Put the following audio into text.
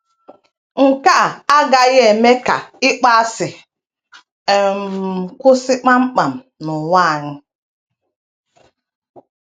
nke a agaghị eme ka ịkpọasị um kwụsị kpam kpam n’ụwa anyị. ’